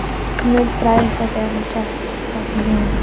Hún muldraði eitthvað þegar hann settist á stokkinn hjá henni.